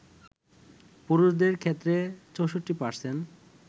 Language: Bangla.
পুরুষদের ক্ষেত্রে ৬৪%